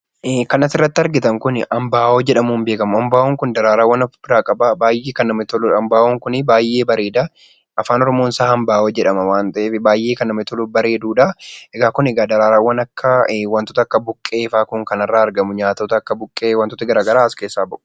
Kan asirratti argitan Kun, ambaa'oo jedhamuun beekama. Ambaa'oon Kun daraaraa ofirraa qaba baayyee kan namatti toludha, ambaa'oon Kun baayyee bareeda. Afaan oromoo isaa Ambaa'oo jedhama waan ta'eef baayyee Kan namatti toluu fi bareedudha. Daraaraawwan waantota akka buqqee fa'aa irraa argamu , waantota akka buqqee waantonni garaagaraa as keessaa bahu.